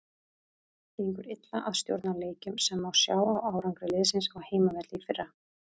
Gengur illa að stjórna leikjum sem má sjá á árangri liðsins á heimavelli í fyrra.